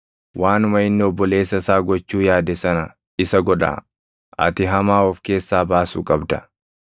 waanuma inni obboleessa isaa gochuu yaade sana isa godhaa. Ati hamaa of keessaa baasuu qabda.